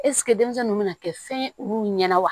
Ɛseke denmisɛn nunnu bɛna kɛ fɛn ye olu ɲɛna wa